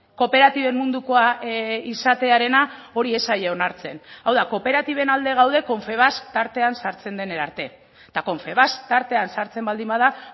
kooperatiben mundukoa izatearena hori ez zaie onartzen hau da kooperatiben alde gaude confebask tartean sartzen denera arte eta confebask tartean sartzen baldin bada